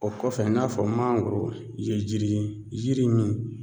O kɔfɛ i n'a fɔ mangoro ye jiri yiri min